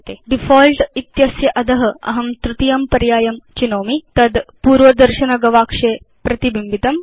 default इत्यस्य अध अहं तृतीयं पर्यायं चेष्यामि भवान् द्रष्टुं शक्नोति यत् तद् पूर्वदर्शनगवाक्षे प्रतिबिम्बितम्